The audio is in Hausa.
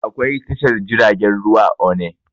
Akwai tashar jiragen ruwa a onne